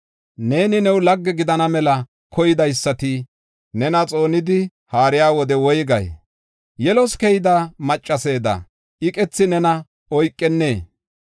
Neeni, new lagge gidana mela koydaysati nena xoonidi haariya wode woygay? Yelos keyida maccasada iqethi nena oykennee?